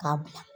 K'a bila